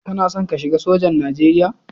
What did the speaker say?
Kana son ka shiga sojan Nijeriya?